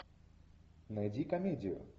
найди комедию